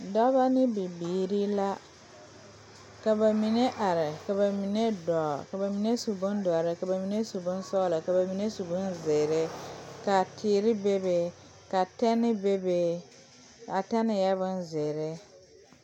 Dɔba ne bibirii la ka ba mine are ka ba mine dɔɔ ka ba mine su bondɔre ka ba mine su bonsɔglɔ ka ba mine su bonzeere ka teere bebe ka tɛne bebe a tɛne eɛ bonzeere.